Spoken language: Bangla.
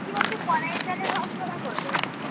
কী বলছি কলাই এর ডালে রসবরা করবে।